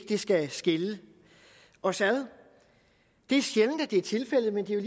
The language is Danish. det skal skille os ad det er sjældent at det er tilfældet men det er